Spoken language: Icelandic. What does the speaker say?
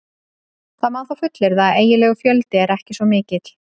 Það má þó fullyrða að eiginlegur fjöldi er ekki svo mikill.